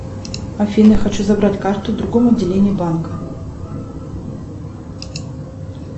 афина хочу забрать карту в другом отделении банка